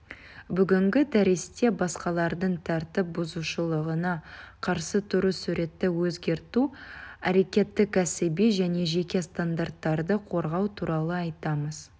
бүгінгі дәрісте басқалардың тәртіп бұзушылығына қарсы тұру суретті өзгерту әрекеті кәсіби және жеке стандарттарды қорғау туралы айтамыз